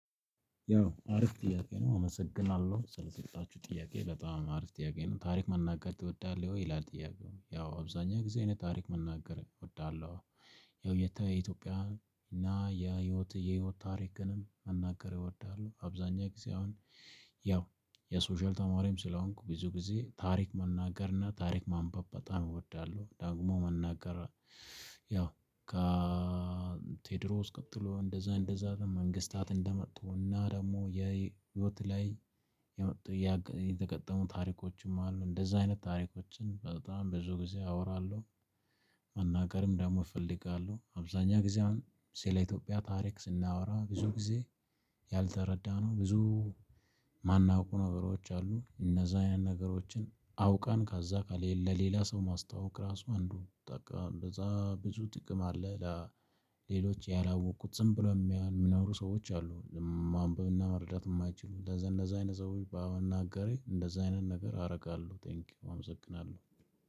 ያው አሪፍ ጥያቄ ነው አመሰግናለሁ ስለሰጣችሁ ጥያቄ በጣም አሪፍ ጥያቄ ነው ታሪክ መናገር ትወዳለህ ወይ ይላል ጥያቄው ያው አብዛኛው ጊዜ እኔ ታሪክ መናገር እወዳለሁ። ያው የተ የኢትዮጵያ እና የህይወት የህይወት ታሪክንም መናገር ይወዳሉ አብዛኛው ጊዜ አሁን ያው የሶሻል ተማሪም ስለሆንኩ ብዙ ጊዜ ታሪክ መናገርና ታሪክ ማንበብ በጣም እወዳለሁ ደግሞ መናገር። ያው ቴዎድሮስ ቀጥሎ እንደዛ እንደዛ ደግሞ መንግስታት እንደመጡ እና ደግሞ የህይወት ላይ የመጡ የተገጠሙ ታሪኮችም አሉ እንደዛ አይነት ታሪኮችን በጣም ብዙ ጊዜ አወራለሁ። መናገርም ደግሞ እፈልጋለሁ አብዛኛ ጊዜ አሁን ስለ ኢትዮጵያ ታሪክ ስናወራ ብዙ ጊዜ ያልተረዳነው ብዙ የማናውቀው ነገሮች አሉ እነዛ ያን ነገሮችን አውቃን ከዛ ካለ ለሌላ ሰው ማስታወቅ ራሱ አንዱ በዛ ብዙ ጥቅም አለ። ሌሎች ያላወቁት ዝም ብለው የሚኖሩ ሰዎች አሉ ማንበብና መረዳት የማይችሉ ለዘን እንደዚህ አይነት ሰዎች በአሁኑ አጋሬ እንደዚህ አይነት ነገር አረጋለሁ። ቴንኪው አመሰግናለሁ።